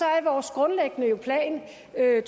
er